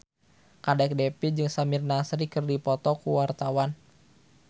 Kadek Devi jeung Samir Nasri keur dipoto ku wartawan